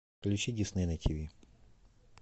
включи дисней на тв